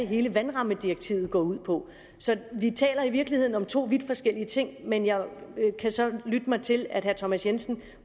hele vandrammedirektivet går ud på så vi taler i virkeligheden om to vidt forskellige ting men jeg kan så lytte mig til at herre thomas jensen